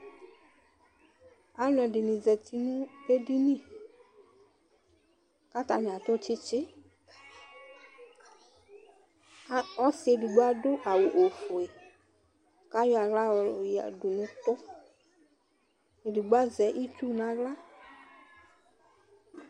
Alʋɛdini zati nʋ edini kʋ atani atʋ tsitsi ɔsi edigbo adʋ awʋ ofue kʋ ayɔ aɣla yɔyɔdʋ nʋ ʋtʋ edigbo azɛ itsu nʋ aɣla